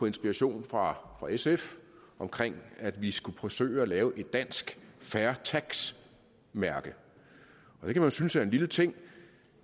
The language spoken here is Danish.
inspiration fra sf om at vi skulle forsøge at lave et dansk fair tax mærke det kan man synes er en lille ting